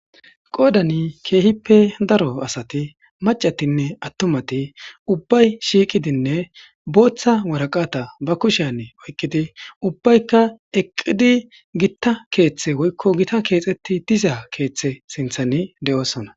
Qodani keehippe daro asati macatinne atumati ubbayi shiqidine boththa woraqata ba kushiyan oyiqqidi ubbayika eqqida keththa woykko gita keththa sinthan de'osona